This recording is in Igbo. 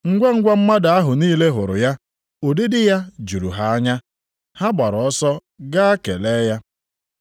Ngwangwa, mmadụ ahụ niile hụrụ ya, ụdịdị ya juru ha anya. Ha gbaara ọsọ gaa kelee ya.